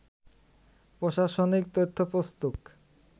প্রশাসনিক তথ্যপুস্তক